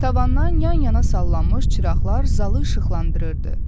Tavandan yan-yana sallanmış çıraqlar zalı işıqlandırırdı.